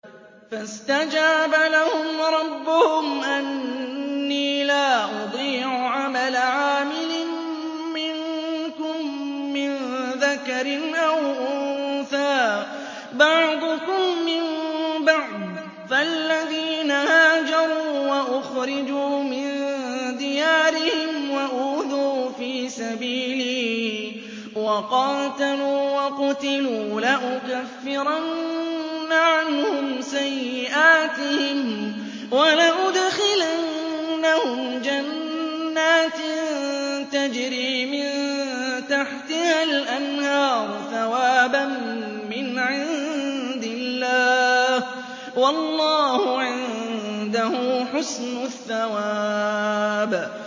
فَاسْتَجَابَ لَهُمْ رَبُّهُمْ أَنِّي لَا أُضِيعُ عَمَلَ عَامِلٍ مِّنكُم مِّن ذَكَرٍ أَوْ أُنثَىٰ ۖ بَعْضُكُم مِّن بَعْضٍ ۖ فَالَّذِينَ هَاجَرُوا وَأُخْرِجُوا مِن دِيَارِهِمْ وَأُوذُوا فِي سَبِيلِي وَقَاتَلُوا وَقُتِلُوا لَأُكَفِّرَنَّ عَنْهُمْ سَيِّئَاتِهِمْ وَلَأُدْخِلَنَّهُمْ جَنَّاتٍ تَجْرِي مِن تَحْتِهَا الْأَنْهَارُ ثَوَابًا مِّنْ عِندِ اللَّهِ ۗ وَاللَّهُ عِندَهُ حُسْنُ الثَّوَابِ